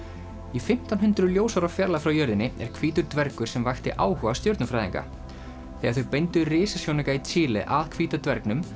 í fimmtán hundruð ljósára fjarlægð frá jörðinni er hvítur dvergur sem vakti áhuga stjörnufræðinga þegar þau beindu risasjónauka í Chile að hvíta dvergnum